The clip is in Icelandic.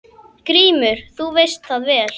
GRÍMUR: Þú veist það vel.